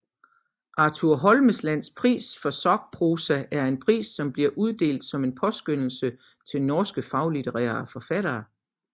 Arthur Holmeslands pris for sakprosa er en pris som bliver uddelt som en påskønnelse til norske faglitterære forfattere